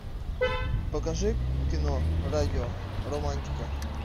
покажи кино радио романтика